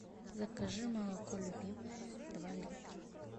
закажи молоко любимое два литра